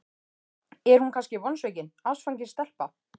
Er hún kannski vonsvikin, ástfangin stelpa?